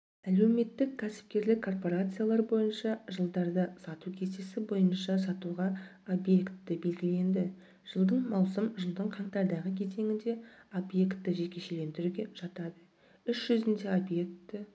әлеуметтік-кәсіпкерлік корпарациялар бойынша жылдарда сату кесте бойынша сатуға объекті белгіленді жылдың маусым жылдың қаңтардағы кезеңінде объекті жекешелендіруге жатады іс жүзінде объекті